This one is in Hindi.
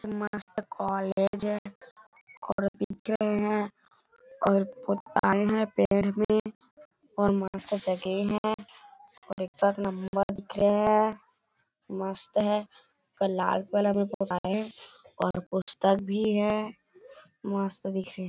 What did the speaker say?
मस्त कॉलेज है औरत दिख रहे है और पौधे है पेड़ भी और मस्त जगह है और एक तरफ नंबर दिख रहे है मस्त है लाल कलर में बनाये है और पुस्तक भी है मस्त दिख रहे--